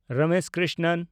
Ramesh Krishnan